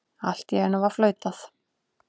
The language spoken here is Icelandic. Allt í einu var flautað.